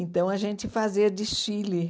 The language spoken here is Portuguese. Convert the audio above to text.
Então, a gente fazia desfile.